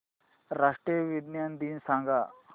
राष्ट्रीय विज्ञान दिन सांगा